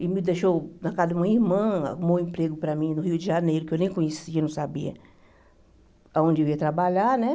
Ele me deixou na casa de uma irmã, arrumou um emprego para mim no Rio de Janeiro, que eu nem conhecia, não sabia aonde eu ia trabalhar né.